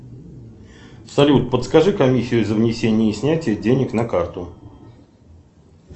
салют подскажи комиссию за внесение и снятие денег на карту